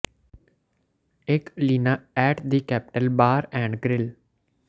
ਇਕ ਇਲੀਨਾ at the the capital and the capital bar and grill